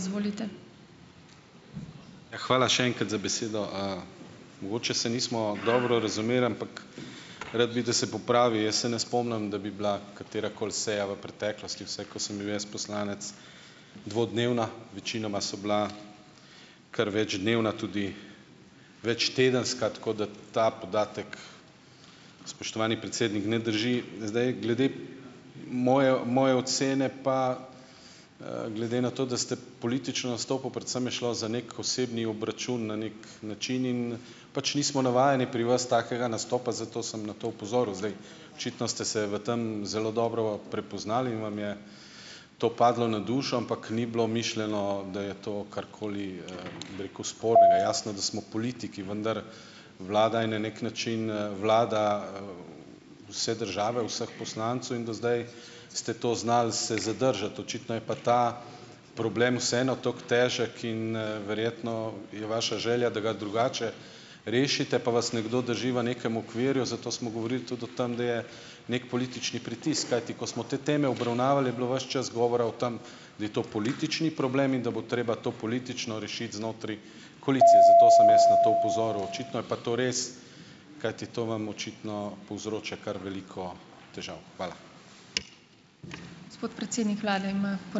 Hvala še enkrat za besedo, Mogoče se nismo dobro razumeli, ampak rad bi, da se popravi. Jaz se ne spomnim, da bi bila katerakoli seja v preteklosti, vsaj ko sem bil jaz poslanec, dvodnevna, večinoma so bila kar večdnevna, tudi večtedenska, tako da ta podatek, spoštovani predsednik, ne drži. Zdaj, glede moje moje ocene pa, glede na to, da ste politično nastopili, predvsem je šlo za neki osebni obračun na neki način in pač nismo navajeni pri vas takega nastopa, zato sem na to opozoril. Zdaj, očitno ste se v tam zelo dobro prepoznali in vam je to padlo na dušo, ampak ni bilo mišljeno, da je to karkoli, bi rekel, spornega. Jasno, da smo v politiki, vendar vlada je na neki način, vlada, vse države, vseh poslancev in do zdaj ste to znali se zadržati, očitno je pa ta problem vseeno tako težek in verjetno je vaša želja, da ga drugače rešite, pa vas nekdo drži v nekem okvirju, zato smo govorili tudi o tem, da je neki politični pritisk, kajti ko smo te teme obravnavali je bilo ves čas govora o tem, da je to politični problem in da bo treba to politično rešiti znotraj koalicije, zato sem jaz na to opozoril. Očitno je pa to res, kajti to vam očitno povzroča kar veliko težav. Hvala.